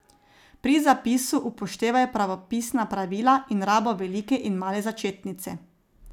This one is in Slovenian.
Pri zapisu upoštevaj pravopisna pravila in rabo velike in male začetnice.